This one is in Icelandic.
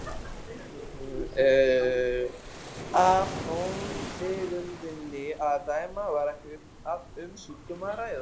Af tóntegundinni að dæma var ekki um sjúkdóm að ræða.